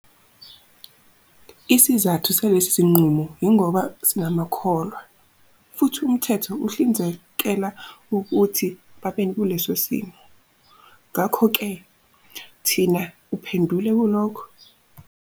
"Isizathu salesi sinqumo yingoba sinamakholwa, futhi umthetho uhlinzekela ukuthi babe kuleso simo, ngakho-ke thina uphendule kulokho?